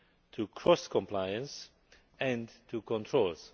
to cross compliance and to controls.